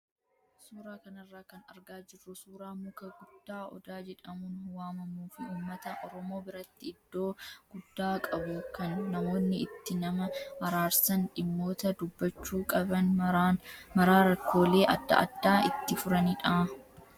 Suuraa kanarraa kan argaa jirru suuraa muka guddaa odaa jedhamuun waamamuu fi uummata oromoo biratti iddoo guddaa qabu kan namoonni itti nama araarsan, dhimmoota dubbachuu qaban maraa rakkoolee adda addaa itti furanidha.